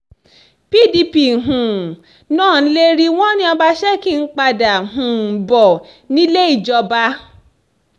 pdp um náà ń lérí wọn ni ọbaṣẹ́kí ń padà um bọ̀ nílé ìjọba